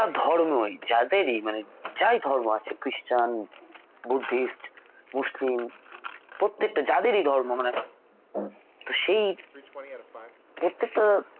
ধর্মই যাদেরই মানে যাই ধর্ম আছে ক্রিষ্টান বুদ্ধিষ্ট মুসলিম প্রত্যেকটা যাদেরই ধর্ম মানে তো সেই প্রত্যেকটা